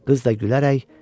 Qız da gülərək